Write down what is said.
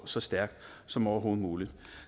så stærk som overhovedet muligt